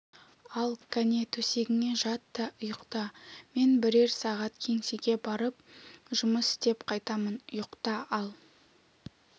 ал кәне төсегіңе жат та ұйықта мен бірер сағат кеңсеге барып жұмыс істеп қайтамын ұйықта ал